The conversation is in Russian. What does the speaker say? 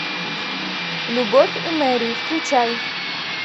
любовь и мэри включай